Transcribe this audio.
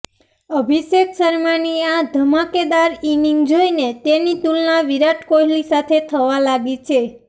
અભિષેક શર્માની આ ધમાકેદાર ઇનિંગ જોઇને તેની તુલના વિરાટ કોહલી સાથે થવા લાગી છે